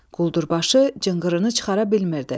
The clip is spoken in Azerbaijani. Quldurbaşı cınqırını çıxara bilmirdi.